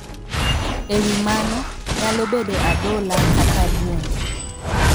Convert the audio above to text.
E wi mano, nyalo bedo adhola kata buombe.